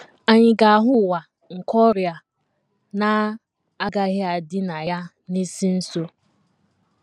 Ànyị ga - ahụ ụwa nke ọrịa na - agaghị adị na ya n’isi nso?